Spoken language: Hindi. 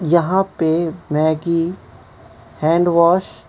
यहां पे मैगी हैंड वॉश --